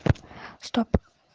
стоп